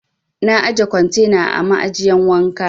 Na ajiye kwantena a ma'ajiyan wanka.